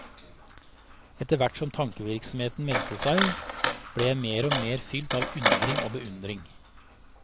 Etterhvert som tankevirksomheten meldte seg, ble jeg mer og mer fylt av undring og beundring.